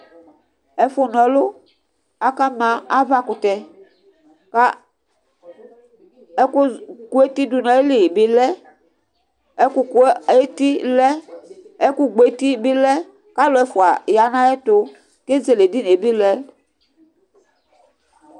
Ɛfʋ na ɔlʋ akama avakʋtɛ kʋ ɛkʋ kʋ etidʋnʋ ayili bi lɛ Ɛkʋ kʋ eti lɛ, ɛkʋgbɔ ɛti bi lɛ, kʋ alʋ ɛfʋa yanʋ ayʋ ɛtʋ, kʋ ezele edinie bi lɛ